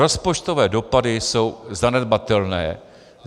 Rozpočtové dopady jsou zanedbatelné.